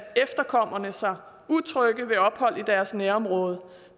efterkommerne sig utrygge ved ophold i deres nærområde